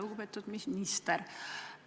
Lugupeetud minister!